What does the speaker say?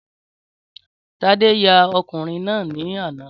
Tádé ya ọkùnrin náà ní àná.